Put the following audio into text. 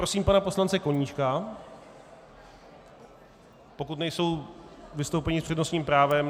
Prosím pana poslance Koníčka, pokud nejsou vystoupení s přednostním právem.